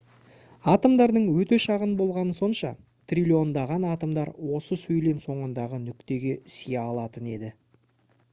атомдардың өте шағын болғаны сонша триллиондаған атомдар осы сөйлем соңындағы нүктеге сыя алатын еді